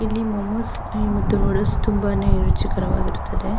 ಇಲ್ಲಿ ಮೊಮೊಸ್ ಮತ್ತು ನೂಡಲ್ಸ್ ತುಂಬಾನೇ ರುಚಿಕರವಾಗಿರುತ್ತದೆ .